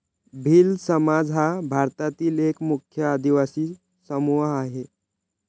भिल्ल समाज हा भारतातील एक मुख्य आदिवासी समूह आहे.